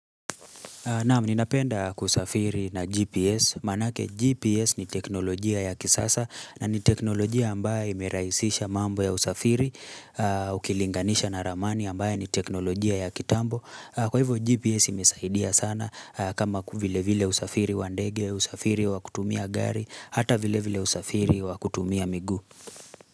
Naam, ninapenda kusafiri na GPS, maanake GPS ni teknolojia ya kisasa na ni teknolojia ambaye imerahisisha mambo ya usafiri, ukilinganisha na ramani ambaye ni teknolojia ya kitambo. Kwa hivyo, GPS imesaidia sana kama vile vile usafiri wandege, usafiri wakutumia gari, hata vile vile usafiri wakutumia miguu.